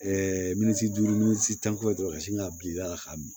minisiran minisitan ko ye dɔrɔn ka sin ka bin da la k'a min